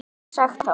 Hvað væri sagt þá?